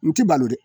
N ti balo dɛ